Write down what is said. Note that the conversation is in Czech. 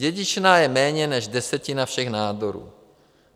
Dědičná je méně než desetina všech nádorů.